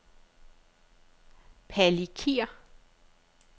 Palikir